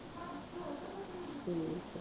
ਠੀਕ ਹੈ।